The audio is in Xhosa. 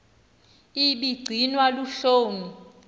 ibi gcinwa luhloni